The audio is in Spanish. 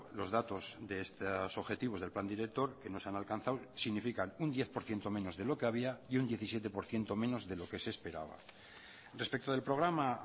los datos de estos objetivos del plan director que no se han alcanzado significan un diez por ciento menos de lo que había y un diecisiete por ciento menos de lo que se esperaba respecto del programa